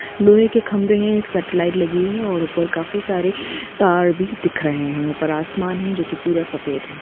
लोहे के खंभे हे एक सेटेलाइट लगी है और ऊपर काफी सारे तार भी दिख रहे है ऊपर आसमान है जो की पूरा सफेद है।